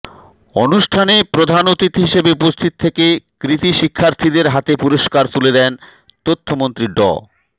অনুষ্ঠানে প্রধান অতিথি হিসেবে উপস্থিত থেকে কৃতি শিক্ষার্থীদের হাতে পুরস্কার তুলে দেন তথ্যমন্ত্রী ড